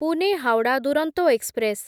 Pune Howrah Duronto express